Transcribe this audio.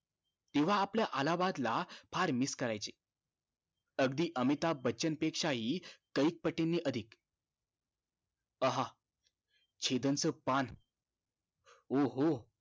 तेंव्हा आपल्या अलाहाबाद ला फार miss करायचे अगदी अमिताभ बच्चन पेक्षा हि काहिक पटीने अधिक आह छिधन च पान ओ हो